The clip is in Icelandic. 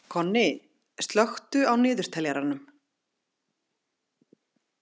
Konni, slökku á niðurteljaranum.